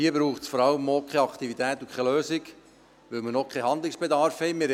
Hier braucht es vor allem keine Aktivität und keine Lösung, weil man noch keinen Handlungsbedarf hat.